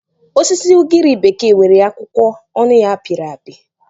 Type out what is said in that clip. Osisi ugiri bekee nwere akwụkwọ onụ- ya pịrị apị.